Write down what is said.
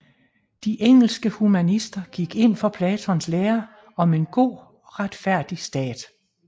De engelske humanister gik ind for Platons lære om en god og retfærdig stat